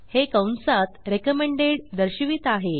हे कंसात recommended recommended दर्शवित आहे